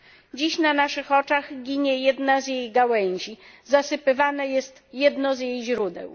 Dziś na naszych oczach ginie jedna z jej gałęzi, zasypywane jest jedno z jej źródeł.